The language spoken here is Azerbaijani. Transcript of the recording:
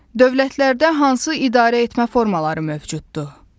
Dövlətlərdə hansı idarəetmə formaları mövcuddur?